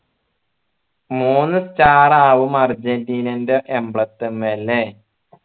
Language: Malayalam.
മൂന്ന് star ആവും അർജൻറീനന്റെ emblem ത്മ്മ ല്ലേ